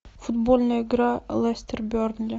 футбольная игра лестер бернли